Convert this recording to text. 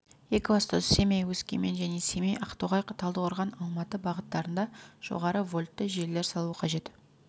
екібастұз семей өскемен және семей ақтоғай талдықорған алматы бағыттарында жоғары вольтты желілер салу қажет